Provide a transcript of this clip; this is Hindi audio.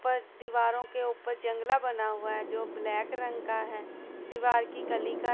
पर दीवारों के ऊपर जंगला बना हुआ हैं जो ब्लैक रंग का हैं दीवार की कली का--